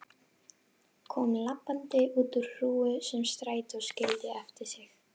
Kom labbandi út úr hrúgu sem strætó skildi eftir sig.